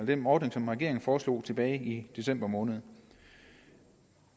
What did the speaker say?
den ordning som regeringen foreslog tilbage i december måned